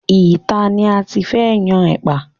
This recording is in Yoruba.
Ìta ni a ti fẹ́ yan ẹ̀pà.